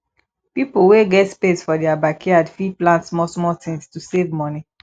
pipo wey get space for their backyard fit plant small small things to save money